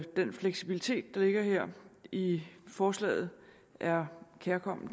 den fleksibilitet der ligger her i forslaget er kærkommen